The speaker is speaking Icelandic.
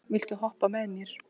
Matthea, viltu hoppa með mér?